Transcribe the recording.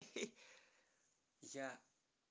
я